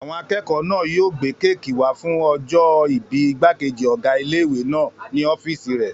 Àwọn akẹ́kọ̀ọ́ náà yóò gbé kéèkì wá fún ọjọ́-ìbí ìgbàkejì ọgá ilé-ìwé náà ní ọ́fìsì rẹ̀